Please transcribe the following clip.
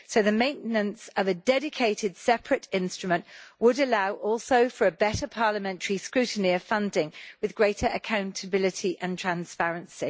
The maintenance of a dedicated, separate instrument would also allow for better parliamentary scrutiny of funding, with greater accountability and transparency.